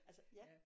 Altså ja